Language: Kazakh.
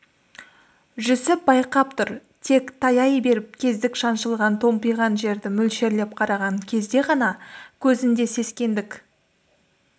жүсіп байқап тұр тек таяй беріп кездік шаншылған томпиған жерді мөлшерлеп қараған кезде ғана көзінде сескенгендік